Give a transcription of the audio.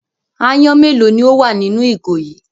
Aáyán mélòó ni ó wà nínú ìgò yìí?